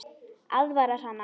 Aðvarar hana.